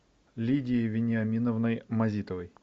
лидией вениаминовной мазитовой